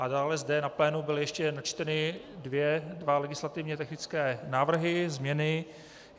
A dále zde na plénu byly ještě načteny dva legislativně technické návrhy, změny.